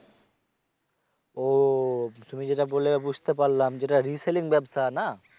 ও তুমি যেটা বললে বুঝতে পারলাম যেটা reselling ব্যাবসা না?